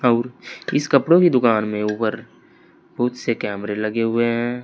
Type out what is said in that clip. और इस कपड़ों की दुकान में ऊपर बहुत से कैमरे लगे हुए हैं।